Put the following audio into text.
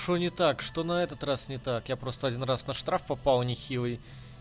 что не так что на этот раз не так я просто один раз на штраф попал нехилый